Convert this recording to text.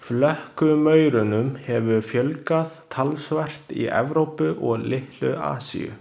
Flökkumaurunum hefur fjölgað talsvert í Evrópu og litlu Asíu.